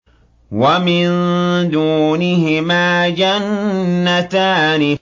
وَمِن دُونِهِمَا جَنَّتَانِ